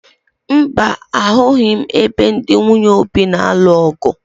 Mba, ahụghị m ebe ndị nwunye Obi na-alụ ọ̀gụ̀